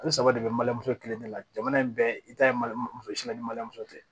Ale saba de bɛ mali muso kelen de la jamana in bɛɛ i ta ye muso sinka ni mali muso tɛ